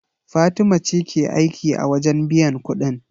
Fatima ce ke aiki a wajen biyan kuɗin.